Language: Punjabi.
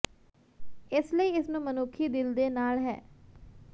ਇਸ ਲਈ ਇਸ ਨੂੰ ਮਨੁੱਖੀ ਦਿਲ ਦੇ ਨਾਲ ਹੈ